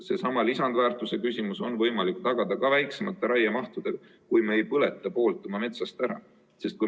Seesama lisandväärtus on võimalik tagada ka väiksema raiemahuga, kui me ei põleta poolt oma metsast ära.